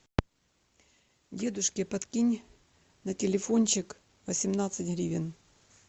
дедушке подкинь на телефончик восемнадцать гривен